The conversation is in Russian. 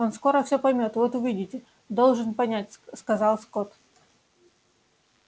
он скоро все поймёт вот увидите должен понять сказал скотт